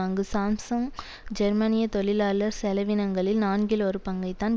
அங்கு சாம்சுங் ஜெர்மனிய தொழிலாளர் செலவினங்களில் நான்கில் ஒரு பங்கைத்தான்